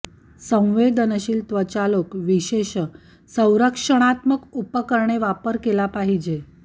संवेदनशील त्वचा लोक विशेष संरक्षणात्मक उपकरणे वापर केला पाहिजे